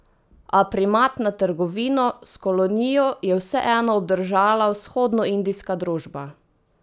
A primat nad trgovino z kolonijo je vseeno obdržala Vzhodnoindijska družba.